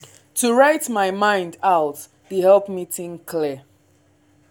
to write my mind out dey help me think clear.